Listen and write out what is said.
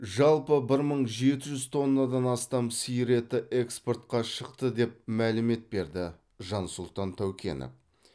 жалпы бір мың жеті жүз тоннадан астам сиыр еті экспортқа шықты деп мәлімет берді жансұлтан тәукенов